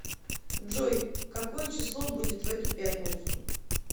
джой какое число будет в эту пятницу